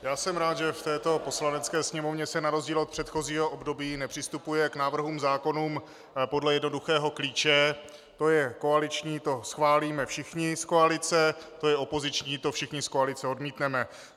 Já jsem rád že v této Poslanecké sněmovně se na rozdíl od předchozího období nepřistupuje k návrhům zákonů podle jednoduchého klíče: to je koaliční - to schválíme všichni z koalice, to je opoziční - to všichni z koalice odmítneme.